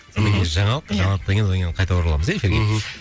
ммм жаңалық иә жаналықтан кейін одан кейін қайта ораламыз иә эфирге мхм